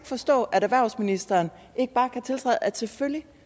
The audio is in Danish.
forstå at erhvervsministeren ikke bare kan tiltræde at selvfølgelig